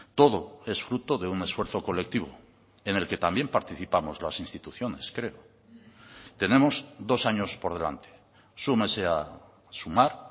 todo es fruto de un esfuerzo colectivo en el que también participamos las instituciones creo tenemos dos años por delante súmese a sumar